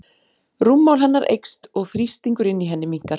Rúmmál hennar eykst og þrýstingur inni í henni minnkar.